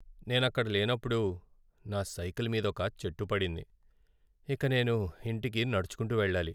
నేను అక్కడ లేనప్పుడు నా సైకిల్ మీదొక చెట్టు పడింది, ఇక నేను ఇంటికి నడుచుకుంటూ వెళ్లాలి.